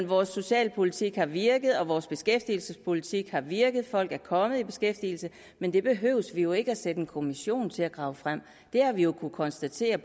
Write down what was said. vores socialpolitik har virket og vores beskæftigelsespolitik har virket folk er kommet i beskæftigelse men det behøver vi jo ikke sætte en kommission til at grave frem det har vi jo kunnet konstatere